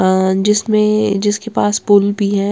अ जिसमें जिसके पास पुल भी हैं।